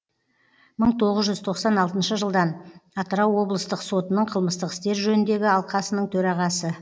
мың тоғыз жүз тоқсан алтыншы жылдан атырау облыстық сотының қылмыстық істер жөніндегі алқасының төрағасы